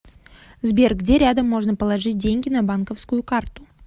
сбер где рядом можно положить деньги на банковскую карту